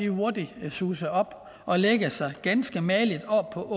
hurtigt suse op og lægge sig ganske mageligt oppe på